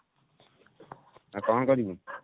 ଆଉ କଣ କରିବୁ?